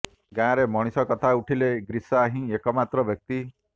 ଗାଁରେ ମଣିଷ କଥା ଉଠିଲେ ଗ୍ରିସା ହିଁ ଏକମାତ୍ର ବ୍ୟକ୍ତି